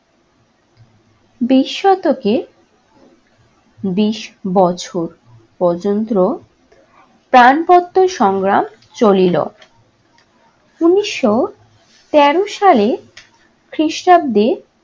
বিশ শতকে বিশ বছর পর্যন্ত ত্রাণপত্র সংগ্রাম চলিলো । উনিশশো তেরো সালে খ্রিস্টাব্দে